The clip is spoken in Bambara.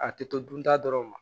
A tɛ to dun ta dɔrɔn ma